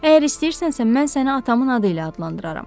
Əgər istəyirsənsə, mən səni atamın adı ilə adlandıraram.